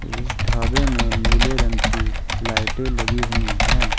इस ढाबे में नीले रंग की लाइटें लगी हुई है।